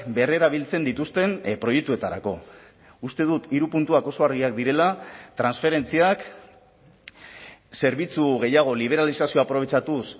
berrerabiltzen dituzten proiektuetarako uste dut hiru puntuak oso argiak direla transferentziak zerbitzu gehiago liberalizazioa aprobetxatuz